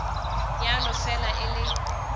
ya no fela e le